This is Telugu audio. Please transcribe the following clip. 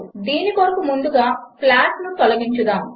దీని కొరకు ముందుగా ప్లాట్ను తొలగించుదాము